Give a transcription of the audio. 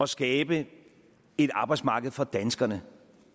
skabe et arbejdsmarked for danskerne